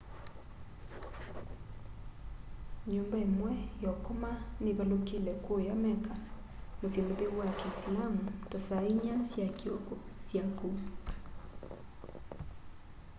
nyumba imwe ya ukoma nivalukile kuuya mecca musyi mutheu wa kiisilaamu ta saa inya sya kioko saa syaku